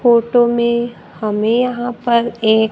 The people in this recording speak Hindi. फोटो में हमें यहां पर एक--